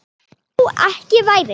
Þó ekki væri.